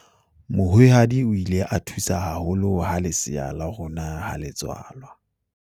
mohwehadi o ile a thusa haholo ha lesea la rona ha le tswalwa